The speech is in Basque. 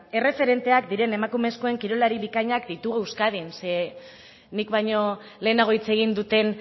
erreferenteak diren emakumezkoen kirolari bikainak ditugu euskadin zeren nik baino lehenago hitz egin duten